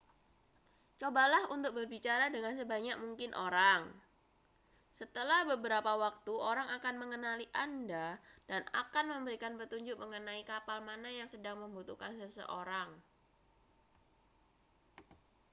cobalah untuk berbicara dengan sebanyak mungkin orang setelah beberapa waktu orang akan mengenali anda dan akan memberikan petunjuk mengenai kapal mana yang sedang membutuhkan seseorang